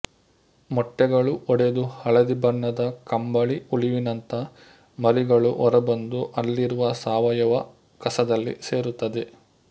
ಮೊಟ್ಟೆಗಳು ಒಡೆದು ಹಳದಿ ಬಣ್ಣದ ಕಂಬಳಿ ಹುಳುವಿನಂಥ ಮರಿಗಳು ಹೊರಬಂದು ಅಲ್ಲಿರುವ ಸಾವಯುವ ಕಸದಲ್ಲಿ ಸೇರುತ್ತವೆ